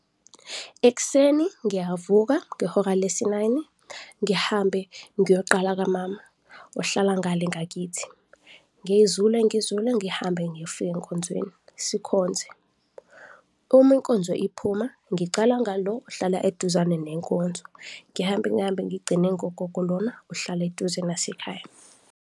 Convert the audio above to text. Ekuseni ngiyavuka ngehora lesi-nine-i, ngihambe ngiyoqala kamama ohlala ngale ngakithi, ngizule ngizule ngihambe ngifike enkonzweni, sikhonze. Uma inkonzo iphuma ngiqala ngalo ohlala eduzane nenkonzo, ngihambe ngihambe ngigcine ngogogo lona ohlala eduze nasekhaya.